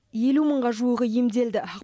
елу мыңға жуығы емделді